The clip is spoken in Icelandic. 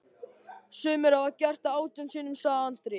Sumir hafa gert það átján sinnum, sagði Andri.